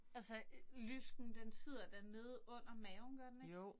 Altså lysken den sidder da nede under maven gør den ikke?